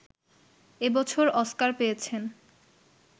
এ বছর অস্কার পেয়েছেন